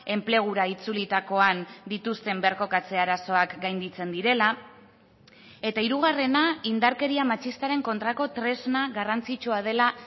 enplegura itzulitakoan dituzten birkokatze arazoak gainditzen direla eta hirugarrena indarkeria matxistaren kontrako tresna garrantzitsua dela